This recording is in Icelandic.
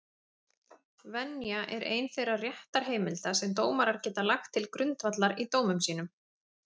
Venja er ein þeirra réttarheimilda sem dómarar geta lagt til grundvallar í dómum sínum.